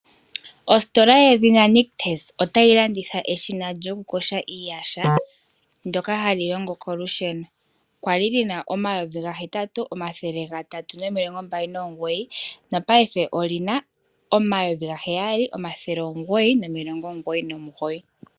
Oositola yedhina Nictus otayi landitha eshina lyoku yoga iiyaha ndyoka hali longo kolusheno kwali lina omayovi gahetatu omathele gatatu nomilongo mbali nomugoyi nopaife olyina omayovi gaheyali omathele omugoyi nomulongo omugoyi nomugoyi .